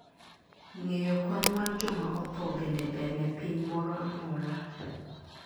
ngeyo kwan mar joma otho bende ber ne piny moro amora